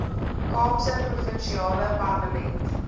kaapse provinsiale parlement